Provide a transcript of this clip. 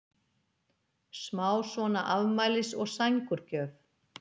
smá svona afmælis- og sængurgjöf.